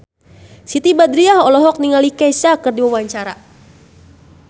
Siti Badriah olohok ningali Kesha keur diwawancara